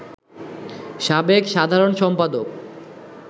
সাবেক সাধারণ সম্পাদক